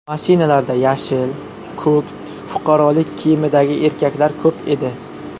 Mashinalarda yashil, ko‘k, fuqarolik kiyimidagi erkaklar ko‘p edi.